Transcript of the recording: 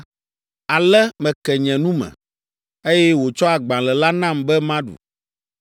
Ale meke nye nu me, eye wòtsɔ agbalẽ la nam be maɖu.